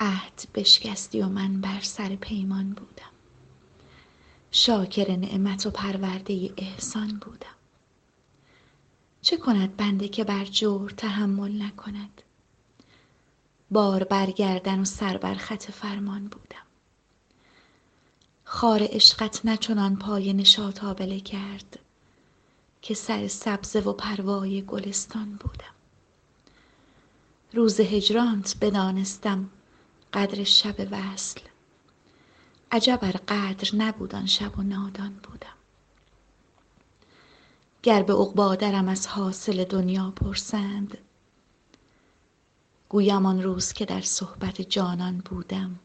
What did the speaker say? عهد بشکستی و من بر سر پیمان بودم شاکر نعمت و پرورده احسان بودم چه کند بنده که بر جور تحمل نکند بار بر گردن و سر بر خط فرمان بودم خار عشقت نه چنان پای نشاط آبله کرد که سر سبزه و پروای گلستان بودم روز هجرانت بدانستم قدر شب وصل عجب ار قدر نبود آن شب و نادان بودم گر به عقبی درم از حاصل دنیا پرسند گویم آن روز که در صحبت جانان بودم